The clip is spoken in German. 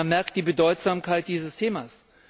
Man merkt die Bedeutsamkeit dieses Themas.